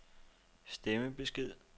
stemmebesked